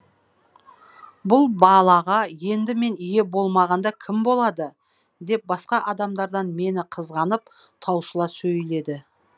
бұл балаға енді мен ие болмағанда кім болады деп басқа адамдардан мені қызғанып таусыла сөйледі